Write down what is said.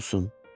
Olsun.